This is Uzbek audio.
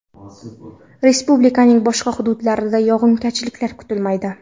Respublikaning boshqa hududlarida yog‘ingarchilik kutilmaydi.